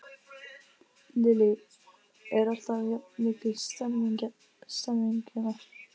Lillý: Er alltaf jafn mikil stemning hérna?